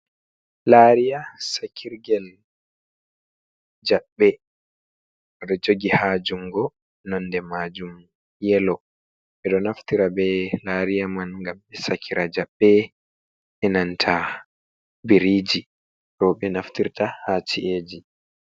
Lariya sakirgel jaɓɓe ɓeɗo jogi hajungo nonde majum yelo ɓeɗo naftira be lariya man gam ɓe sekira jaɓɓe enanta biriji roɓe naftirta ha ci’eji.